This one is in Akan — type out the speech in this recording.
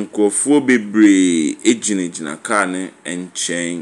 nkurɔfoɔ bebree gyingyina kaa no nkyɛn.